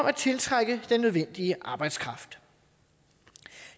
at tiltrække den nødvendige arbejdskraft